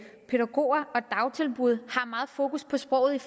pædagoger og dagtilbud har meget fokus på sproget i